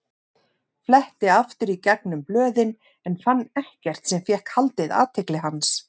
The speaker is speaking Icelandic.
Fletti aftur í gegnum blöðin en fann ekkert sem fékk haldið athygli hans.